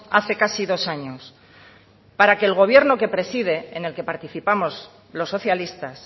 hace casi dos años para que el gobierno que preside en el que participamos los socialistas